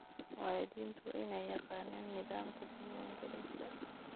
Waalidiintu waa inay yaqaanaan nidaamka diiwaangelinta.